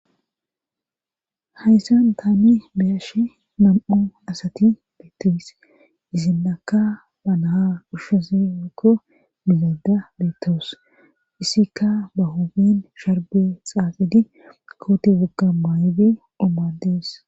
Hayssan taani beyashe nam'u asati beettos isin akka ba naha qushshesi meko milada beettoos issikka ba hoben sharbe xaafidi koote gugga maaybi omadees